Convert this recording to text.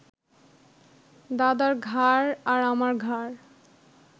দাদার ঘাড় আর আমার ঘাড়